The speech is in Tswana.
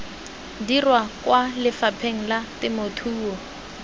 dirwa kwa lefapheng la temothuo